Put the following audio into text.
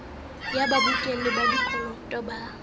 ya babokelli ba dikoloto ba